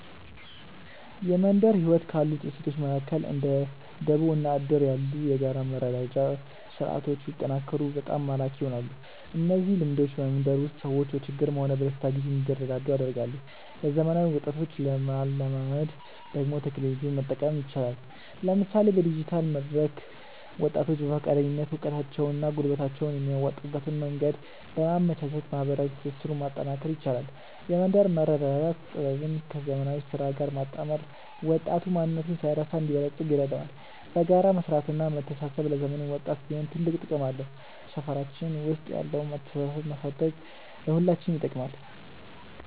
የመንደር ህይወት ካሉት እሴቶች መካከል እንደ ደቦ እና እድር ያሉ የጋራ መረዳጃ ስርዓቶች ቢጠናከሩ በጣም ማራኪ ይሆናሉ። እነዚህ ልምዶች በመንደር ውስጥ ሰዎች በችግርም ሆነ በደስታ ጊዜ እንዲረዳዱ ያደርጋሉ። ለዘመናዊ ወጣቶች ለማላመድ ደግሞ ቴክኖሎጂን መጠቀም ይቻላል፤ ለምሳሌ በዲጂታል መድረክ ወጣቶች በፈቃደኝነት እውቀታቸውንና ጉልበታቸውን የሚያዋጡበትን መንገድ በማመቻቸት ማህበራዊ ትስስሩን ማጠናከር ይቻላል። የመንደር መረዳዳት ጥበብን ከዘመናዊ ስራ ጋር ማጣመር ወጣቱ ማንነቱን ሳይረሳ እንዲበለጽግ ይረዳዋል። በጋራ መስራትና መተሳሰብ ለዘመኑም ወጣት ቢሆን ትልቅ ጥቅም አለው። ሰፈራችን ውስጥ ያለውን መተሳሰብ ማሳደግ ለሁላችንም ይጠቅማል።